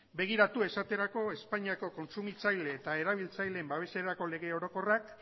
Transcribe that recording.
begiratu esaterako espainiako kontsumitzaile eta erabiltzaileen babeserako lege orokorrak